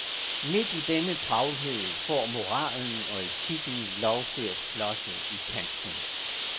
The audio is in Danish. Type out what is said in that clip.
Men midt i denne travlhed får moralen og etikken lov til at flosse i kanten.